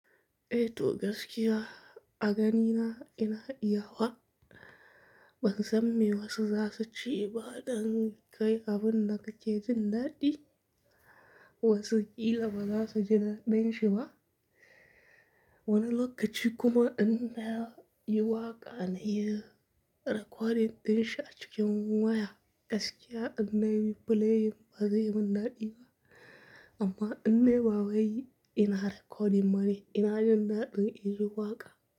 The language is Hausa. Eh to gaskiya a ganina ina iya wa. Ban san me wasu za su ci ba dan kai abin da kake jin daɗi wasu ƙila ba za su ji daɗin shi ba. Wani lokaci kuma inda yi waƙa na yi recording ɗin shi a cikin waya. Gaskiya ina yi playin bazai min daɗi ba amma in na yi ba wai ina recording mana ina jin daɗin in yi waƙa.